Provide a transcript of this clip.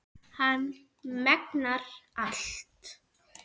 Hann megnar allt.